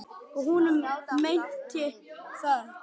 Og hún meinti það.